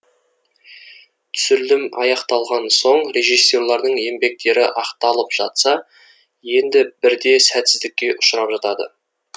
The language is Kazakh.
түсірілім аяқталған соң режиссерлердің еңбектері ақталып жатса енді бірде сәтсіздікке ұшырап жатады